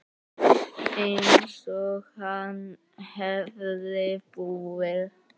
Einsog hann hefði búið.